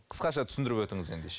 қысқаша түсіндіріп өтіңіз ендеше